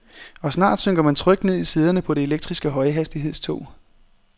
Og snart synker man trygt ned i sæderne på det elektriske højhastighedstog.